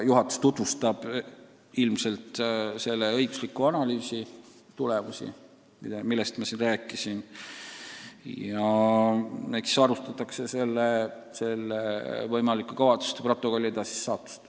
Juhatus tutvustab ilmselt selle õigusliku analüüsi tulemusi, millest ma siin rääkisin, ja eks siis arutatakse ka võimaliku kavatsuste protokolliga seonduvat.